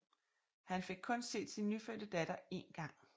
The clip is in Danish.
Han fik kun set sin nyfødte datter én gang